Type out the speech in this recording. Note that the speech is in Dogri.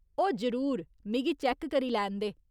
ओह्, जरूर, मिगी चैक्क करी लैन दे।